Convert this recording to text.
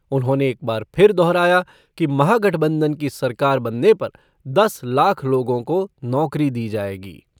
उन्होंने एक बार फिर दोहराया कि महागठबंधन की सरकार बनने पर दस लाख लोगों को नौकरी दी जाएगी।